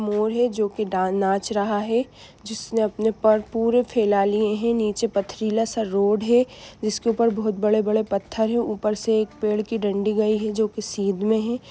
मोर है जो की डान नाच रहा है जिसने अपने पर पुरे फैला लिए है नीचे पथरीला सा रोड़ है जिसके ऊपर बहुत बड़े-बड़े पत्थर है ऊपर से एक पेड़ की डंडी गई है जो की सीद में है।